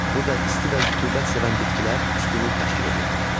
Burada isti və rütubət sevən bitkilər üstünlük təşkil edirdi.